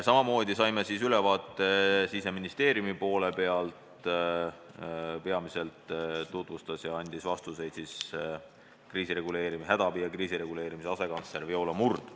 Samamoodi saime ülevaate Siseministeeriumi poole pealt, peamiselt andis meile vastuseid hädaabi ja kriisireguleerimise asekantsler Viola Murd.